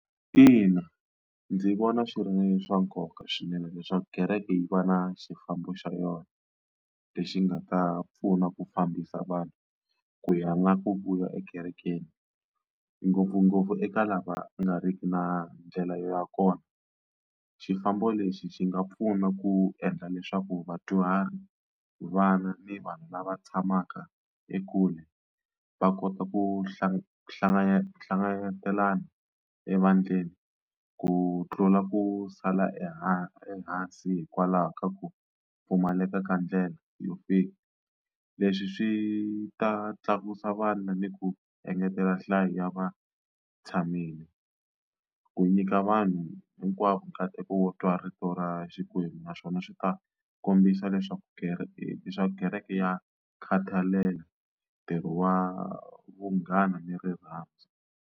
Ina ndzi vona swi ri swa nkoka swinene leswaku kereke yi va na xifambo xa yona lexi nga ta pfuna ku fambisa vanhu ku ya na ku vuya ekerekeni ngopfungopfu eka lava nga riki na ndlela ya kona xifambo lexi xi nga pfuna ku endla leswaku vadyuhari vana ni vanhu lava tshamaka ekule va kota ku hlangana hlanganahlangana ehandleni ku tlula ku sala ehansi ehansi hikwalaho ka ku pfumaleka ka ndlela yo fika leswi swi ta tlakusa vana ni ku engetela nhlayo ya va tshamile ku nyika vanhu hinkwavo nkateko wo twa rito ra xikwembu naswona swi ta kombisa leswaku kereke leswaku kereke ya khathalela ntirho wa vunghana ni rirhandzu.